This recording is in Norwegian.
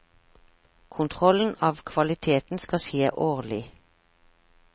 Kontrollen av kvaliteten skal skje årlig.